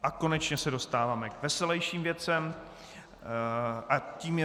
A konečně se dostáváme k veselejším věcem a tím je